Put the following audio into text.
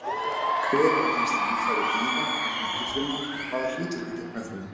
Hver eru helstu líffæri dýra- og plöntufrumu og hvaða hlutverki gegna þau?